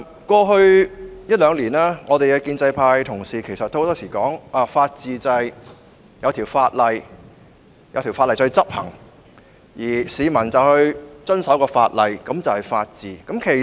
過去一兩年，建制派議員經常指出，根據法治原則，一項法案制定成法例後得以執行，而市民又遵守該法例，這便是法治。